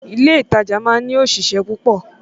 Ilé ìtajà máa ń ní òṣìṣẹ́ púpọ̀